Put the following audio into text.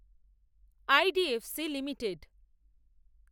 IDFC limited